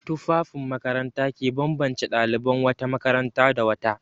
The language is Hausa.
Tufafin makaranta ke bambance ɗaliban wata makaranta da wata.